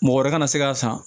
Mɔgɔ wɛrɛ kana se k'a san